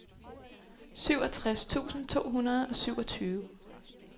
syvogtres tusind to hundrede og syvogtyve